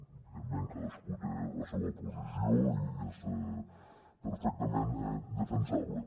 evidentment cadascú té la seua posició i és perfectament defensable